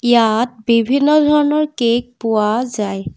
ইয়াত বিভিন্ন ধৰণৰ কেক পোৱা যায়।